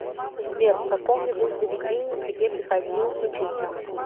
сбер в каком нибудь заведении тебе приходилось учиться